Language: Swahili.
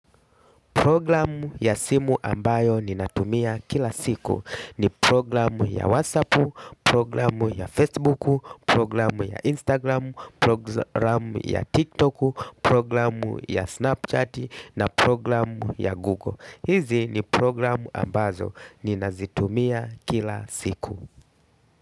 Programu ya simu ambayo ninatumia kila siku ni programu ya WhatsApp, programu ya Facebook, programu ya Instagram, programu ya TikTok, programu ya Snapchat na programu ya Google. Hizi ni programu ambazo ninazitumia kila siku.